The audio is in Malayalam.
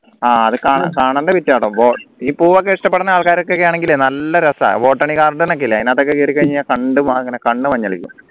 ആഹ് അത് കാണണ്ട ഈ പൂവൊക്കെ ഇഷ്ടപ്പെടുന്ന ആൾക്കാരൊക്കെയാണെങ്കില നല്ല രസാ botanical garden ഒക്കെ ഇല്ലേ അതിനകത്ത് ഒക്കെ കേറിക്കഴിഞ്ഞ കണ്ട് കണ്ണു മഞ്ഞളിക്കും